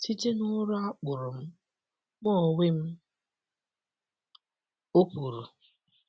“ Site na ụrọ a kpụrụ m, mụ onwe m, ” o kwuru.